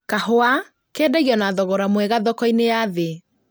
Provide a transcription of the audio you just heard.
Kahũa kendagio na thogora mwega thoko-inĩ ya thĩ